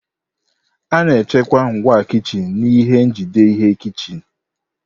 A na-echekwa ngwa kichin n'ihe njide ihe kichin.